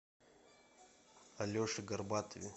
алеше горбатове